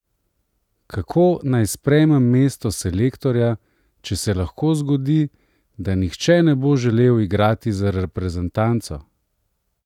Kako naj sprejmem mesto selektorja, če se lahko zgodi, da nihče ne bo želel igrati za reprezentanco?